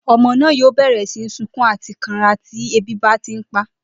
O̩mo̩ náà yóò bè̩rè̩ sí ní sunkún àti kanra tí ebi bá ti ń pa á